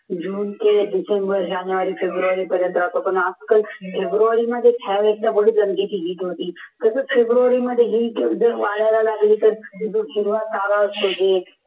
जून ते डिसेंबर जानेवारी फेब्रुवारी पर्यंत राहतो पण आजकाल फेब्रुवारीमध्ये कसं फेब्रुवारीमध्ये वाढवायला लागली तर